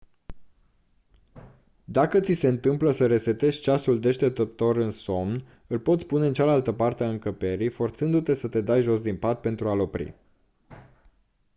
dacă ți se întâmplă să resetezi ceasul deșteptător în somn îl poți pune în cealaltă parte a încăperii forțându-te să te dai jos din pat pentru a-l opri